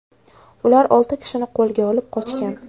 Ular olti kishini qo‘lga olib, qochgan.